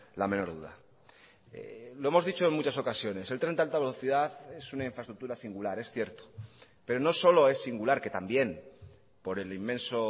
la menor duda lo hemos dicho en muchas ocasiones el tren de alta velocidad es una infraestructura singular es cierto pero no solo es singular que también por el inmenso